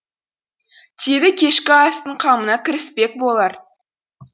тегі кешкі астың қамына кіріспек болар